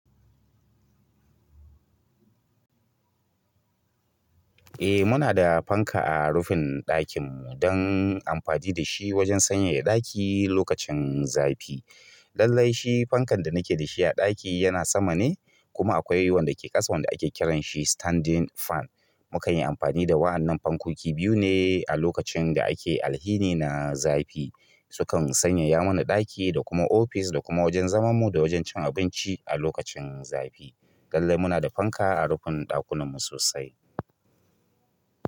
Eh muna da fanka a rufin ɗakin mu dan amfani da shi wajen sanyaya ɗaki lokacin zafi. Lallai shi fankan da muke da shi a ɗaki yana sama ne kuma akwai wanda ke ƙasa wanda ake kiran shi standing fan. Mukan yi amfani da wa'annan fankoki biyu ne a lokacin da ake alhini na zafi. Su kan sanyaya mana ɗaki da kuma ofis da kuma wajen zaman mu da wajen cin abinci a lokacin zafi. Lallai muna da fanka a rufin ɗakunan mu sosai.